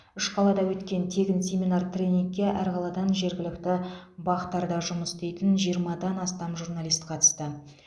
үш қалада өткен тегін семинар тренингке әр қаладан жергілікті бақ тарда жұмыс істейтін жиырмадан астам журналист қатысты